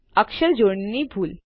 અક્ષર જોડણીની ભૂલ